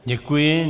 Děkuji.